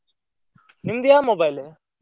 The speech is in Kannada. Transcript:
ನಿಮ್ದ್ ಯಾವ mobile ?